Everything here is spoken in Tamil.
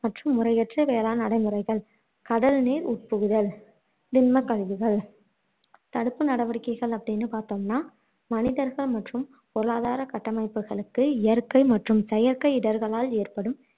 முறையற்ற வேளாண் நடைமுறைகள் கடல் நீர் உட்புகுதல் திண்மக் கழிவுகள் தடுப்பு நடவடிக்கைகள் அப்படின்னு பாத்தோம்னா மனிதர்கள் மற்றும் பொருளாதார கட்டமைப்புகளுக்கு இயற்கை மற்றும் செயற்கை இடர்களால் ஏற்படும்